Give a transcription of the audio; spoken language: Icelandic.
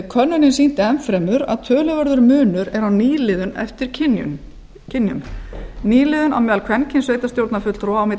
könnunin sýndi enn fremur að töluverður munur er á nýliðun eftir kynjum nýliðun á meðal kvenkynssveitarstjórnarfulltrúa milli